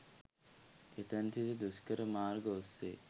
එතැන් සිට දුෂ්කර මාර්ග ඔස්සේ